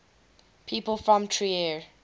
people from trier